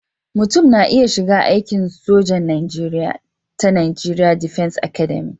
Mutum na iya shiga aikin sojan Najeriya ta Najeriya Defence Academic